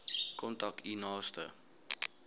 kontak u naaste